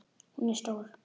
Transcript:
Hún er stór.